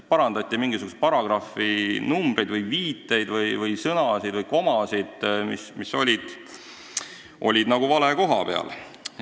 Parandati mingisuguseid paragrahvi numbreid või viiteid või sõnasid või komasid, mis olid vale koha peal.